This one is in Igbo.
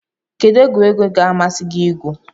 Kedu egwuregwu ga-amasị gị igwu?